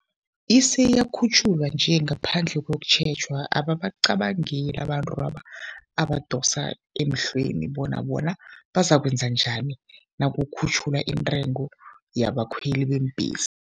Isiyakhutjhulwa nje ngaphandle kokutjhejwa. Ababacabangeli abantu abadosa emhlweni bona bona bazakwenza njani nakukhutjhulwa intengo yabakhweli beembhesi.